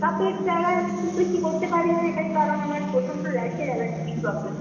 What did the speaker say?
makeup এর জায়গায় খুব বেশি করতে পারিনা এটাই কারণ আমার প্রচন্ড rash র allergetic problem আছে।